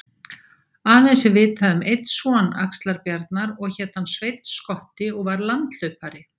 Aðeins er vitað um einn son Axlar-Bjarnar og hét hann Sveinn skotti og var landhlaupari